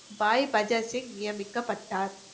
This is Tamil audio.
பாய் பஜன்சிங் நியமிக்கப்பட்டார்